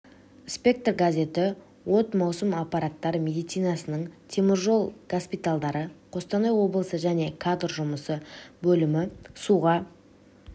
спектр газеті от маусым апаттар медицинасының темір жол госпитальдары қостанай облысы және кадр жұмысы бөлімі суға